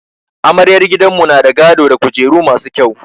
Amaryar gidanmu na da gado da kujeru masu kyau.